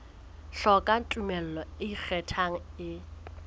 hloka tumello e ikgethang e